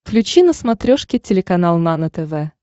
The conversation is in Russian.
включи на смотрешке телеканал нано тв